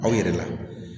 Aw yɛrɛ la